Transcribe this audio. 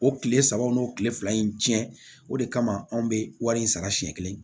O kile saba o n'o kile fila in cɛn o de kama anw bɛ wari in sara siɲɛ kelen